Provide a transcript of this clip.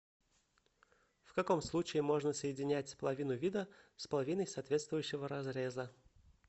в каком случае можно соединять половину вида с половиной соответствующего разреза